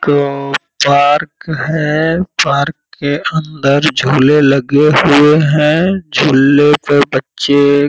कौन पार्क है। पार्क के अंदर झूले लगे हुए हैं। झूले पे बच्चे --